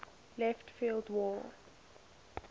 left field wall